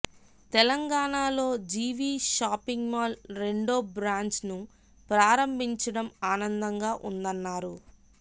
తెలంగాణ లో GV shopping mall రెండో బ్రాంచ్ను ప్రారంభించడం ఆనందంగా ఉందన్నారు